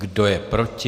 Kdo je proti?